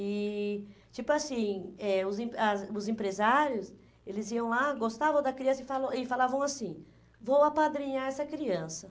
E, tipo assim, eh os em as os empresários, eles iam lá, gostavam da criança e falou e falavam assim, vou apadrinhar essa criança.